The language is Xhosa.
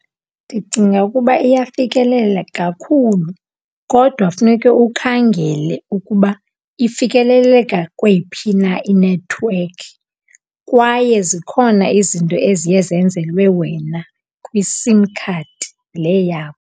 Ndicinga ukuba iyafikeleleka kakhulu kodwa kufuneka ukhangele ukuba ifikeleleka kweyiphi na inethiwekhi, kwaye zikhona izinto eziye zenzelwe wena kwiSIM card leyo yakho.